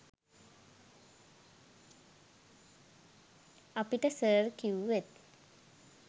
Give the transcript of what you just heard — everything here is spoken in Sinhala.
අපිට සර් කිව්වෙත්